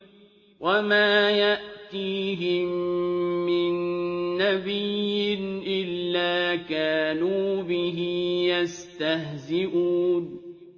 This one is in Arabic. وَمَا يَأْتِيهِم مِّن نَّبِيٍّ إِلَّا كَانُوا بِهِ يَسْتَهْزِئُونَ